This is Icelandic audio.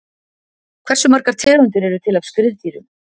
Hversu margar tegundir eru til af skriðdýrum?